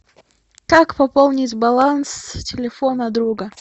как пополнить баланс телефона друга